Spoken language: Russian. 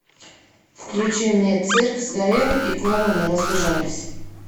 включи мне цирк сгорел и клоуны разбежались